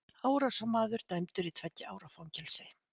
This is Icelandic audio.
Árásarmaður dæmdur í tveggja ára fangelsi